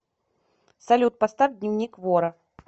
салют поставь дневник вора